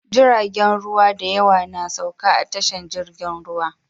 Jiragen ruwa dayawa na sauka a tashar jirgin ruwa